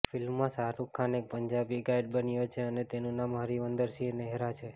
ફિલ્મમાં શાહરૂખ ખાન એક પંજાબી ગાઈડ બન્યો છે અને તેનું નામ હરવિંદર સિંહ નેહરા છે